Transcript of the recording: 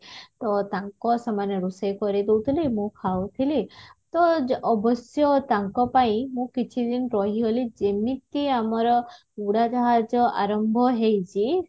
ତ ତାଙ୍କ ସେମାନେ ରୋଷେଇ କରି ଦଉଥିଲେ ମୁଁ ଖାଉଥିଲି ତ ଜ ଅବଶ୍ୟ ତାଙ୍କ ପାଇଁ ମୁଁ କିଛି ଦିନ ରହିଗଲି ଯେମିତି ଆମର ଉଡାଜାହାଜ ଆରମ୍ଭ ହେଇଛି